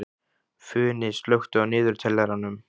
Funi, slökktu á niðurteljaranum.